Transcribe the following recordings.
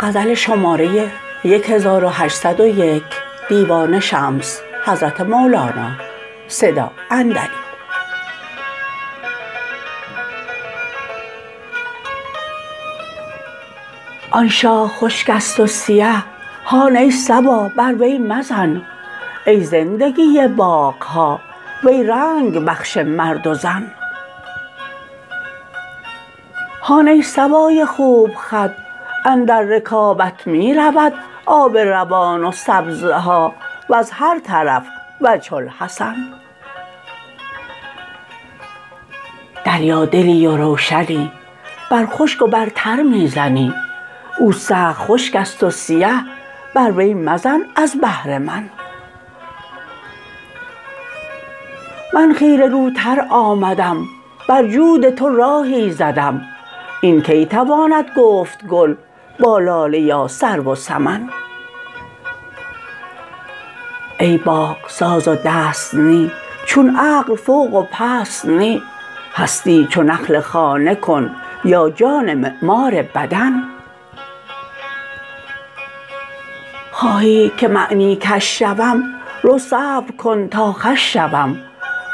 آن شاخ خشک است و سیه هان ای صبا بر وی مزن ای زندگی باغ ها وی رنگ بخش مرد و زن هان ای صبای خوب خد اندر رکابت می رود آب روان و سبزه ها وز هر طرف وجه الحسن دریادلی و روشنی بر خشک و بر تر می زنی او سخت خشک است و سیه بر وی مزن از بهر من من خیره روتر آمدم بر جود تو راهی زدم این کی تواند گفت گل با لاله یا سرو و سمن ای باغ ساز و دست نی چون عقل فوق و پست نی هستی چو نحل خانه کن یا جان معمار بدن خواهی که معنی کش شوم رو صبر کن تا خوش شوم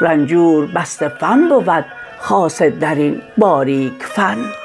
رنجور بسته فن بود خاصه در این باریک فن